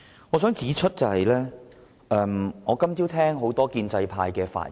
今天早上我聆聽了多位建制派議員的發言。